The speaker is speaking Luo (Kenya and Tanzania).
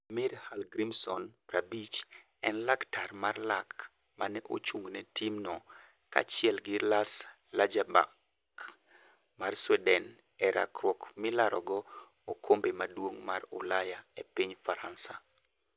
Heimir Hallgrimsson, 50, en laktar mar lak mane ochung'ne tim no kaachiel gi Lars Largerback mar Sweden e rakruok milarogo okombe maduong' mar Ulaya e piny Faransa.